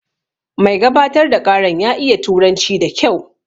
Mai gabatar da ƙaran ya iya turanci da kyau